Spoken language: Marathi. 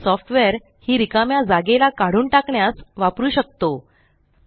ब्रिस सॉफ्टवेर ही रिकाम्या जागेला काढून टाकण्यास वापरु शकतो